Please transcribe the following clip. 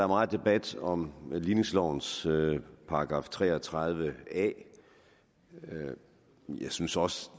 meget debat om ligningslovens § tre og tredive a jeg synes også